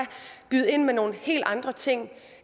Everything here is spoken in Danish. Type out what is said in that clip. byde ind med nogle helt andre ting